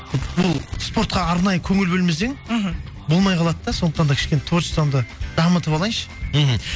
бұл спортқа арнайы көңіл бөлмесең мхм болмай қалады да сондықтан да кішкене творчествамды дамытып алайыншы мхм